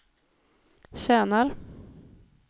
tjänar